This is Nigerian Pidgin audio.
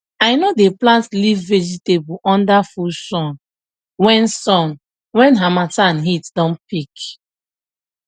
i no dey plant leaf vegetable under full sun when sun when harmattan heat don peak